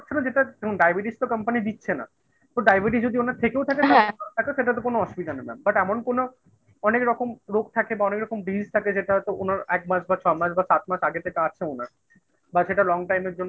যেটা ডায়াবেটিস তো company দিচ্ছে না ডায়াবেটিস যদি ওনার থেকেও থাকেন থাকে সেটা তো কোনো অসুবিধা না but এমন কোন অনেক রকম রোগ থাকে বা অনেক রকম Disease থাকে যেটা হয়তো ওনার এক মাস বা ছ মাস বা সাত মাস আগে থেকে আছে ওনার বা সেটা long time এর জন্য